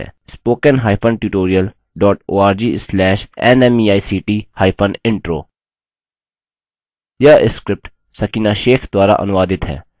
इस mission पर अधिक जानकारी निम्न लिंक पर उपलब्ध है spoken hyphen tutorial dot org slash nmeict hyphen intro